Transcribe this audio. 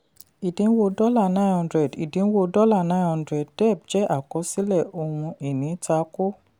ìdínwó dollar nine hundred ìdínwó dollar nine hundred dẹ̀ jẹ́ àkọsílẹ̀ ohun-ìní takò.